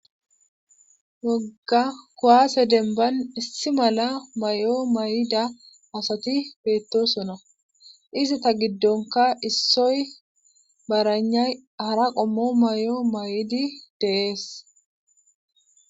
wogga kowaase demban issi mala may7o may7ida asati beettosona izi ta giddonka issoy baranay hara qommo may7o may7idi deees